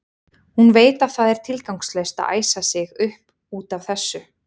Hún veit að það er tilgangslaust að æsa sig upp út af þessu.